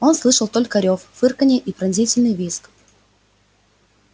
он слышал только рёв фырканье и пронзительный визг